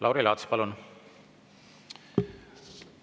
Lauri Laats, palun!